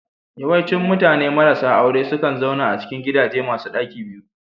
Yawancin mutane marasa aure sukan zauna a cikin gidaje masu ɗaki biyu